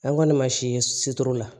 An kɔni ma si ye situlu la